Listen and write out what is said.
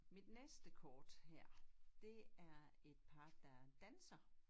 Mit næste kort her det er et par der danser